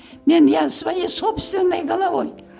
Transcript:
мен я своей собственной головой